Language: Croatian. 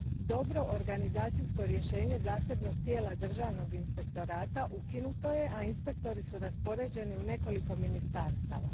Dobro organizacijsko rješenje zasebnog tijela Državnog inspektorata ukinuto je, a inspektori su raspoređeni u nekoliko ministarstava.